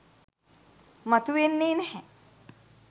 මතු වෙන්නේ නැහැ.